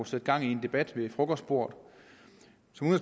sætte gang i en debat ved frokostbordet